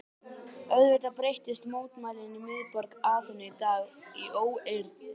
Auðvitað breyttust mótmælin í miðborg Aþenu í dag í óeirðir.